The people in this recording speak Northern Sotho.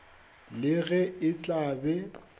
le ge e tla be